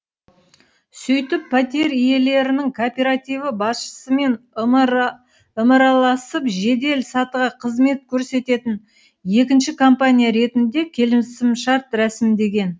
сөйтіп пәтер иелерінің кооперативі басшысымен ымыраласып жедел сатыға қызмет көрсететін екінші компания ретінде келісімшарт рәсімдеген